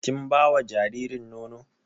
Kin ba wa jaririn nono?